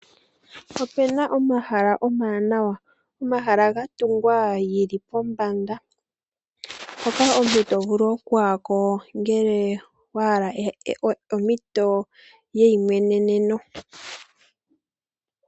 Opena omahala omawanawa. Omahala ga tungwa geli pombanda. Hoka omuntu to vulu okuya ko ngele owa hala ompito yeimweneneno.